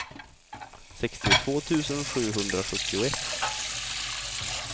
sextiotvå tusen sjuhundrasjuttioett